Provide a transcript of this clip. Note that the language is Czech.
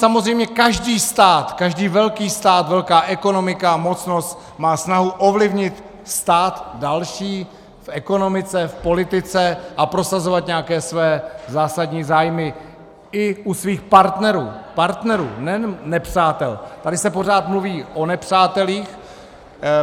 Samozřejmě každý stát, každý velký stát, velká ekonomika, mocnost má snahu ovlivnit stát další v ekonomice, v politice a prosazovat nějaké své zásadní zájmy i u svých partnerů - partnerů, nejen nepřátel, tady se pořád mluví o nepřátelích.